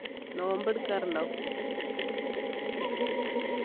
നോമ്പെടുക്കാറുണ്ടോ